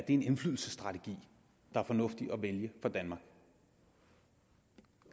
en indflydelsesstrategi der er fornuftig at vælge for danmark